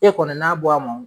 E kɔni n'a bɔ a ma o.